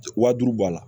Waa duuru bɔ a la